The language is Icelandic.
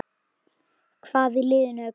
Hvað í liðinu er gott?